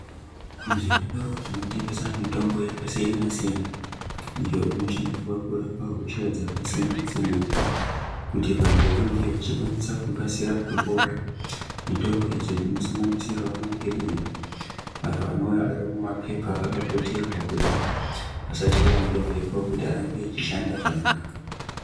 Zvitoro zvinotengeswa mitombo yakasiyana siyana iyo inoshandiswa kurapa hosha dzakasiyasiyana siyana kuti vantu vange vachitarisirwa kupora mitombo idzo dzinosanganisira mapiriziayo anouya ari mumapepa akaputirwa kuti asachaiwa ngemhepo arambe achishanda zvakanaka